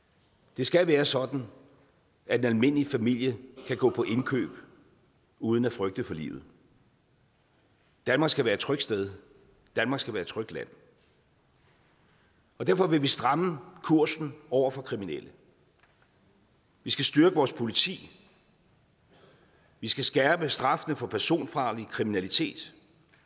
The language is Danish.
det skal være sådan at en almindelig familie kan gå på indkøb uden at frygte for livet danmark skal være et trygt sted danmark skal være et trygt land derfor vil vi stramme kursen over for kriminelle vi skal styrke vores politi vi skal skærpe straffene for personfarlig kriminalitet